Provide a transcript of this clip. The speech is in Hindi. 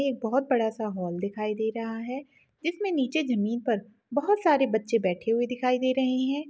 ये बहोत बड़ा सा हॉल दिखाई दे रहा है जिसमेनीचे ज़मीन पर बहोत सारे बच्चे बैठे हुए दिखाई दे रहे हैं।